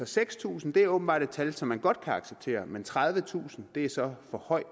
seks tusind er åbenbart et tal som man godt kan acceptere men tredivetusind er så for højt